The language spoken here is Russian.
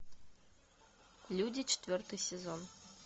люди четвертый сезон